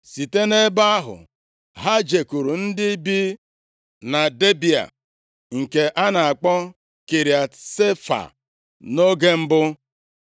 Site nʼebe ahụ, ha jekwuru ndị bi na Debịa (nke a na-akpọ Kiriat Sefa, nʼoge mbụ).